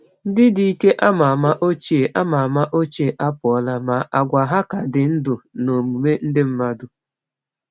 Ndị dike ama ama ochie ama ama ochie apụla, ma àgwà ha ka dị ndụ n’omume ndị mmadụ.